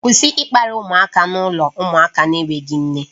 Kwụsị ịkparị ụmụaka n'ụlọ ụmụaka na-enweghị nne